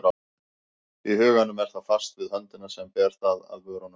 Í huganum er það fast við höndina sem ber það að vörunum.